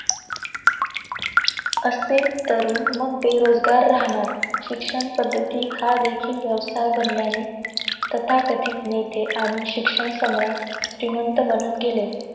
असे तरुण मग बेरोजगार राहणार. शिक्षण पद्धती हा देखील व्यवसाय बनल्याने, तथाकथित नेते आणि शिक्षण सम्राट, श्रीमंत बनत गेले.